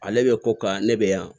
Ale bɛ ko ka ne bɛ yan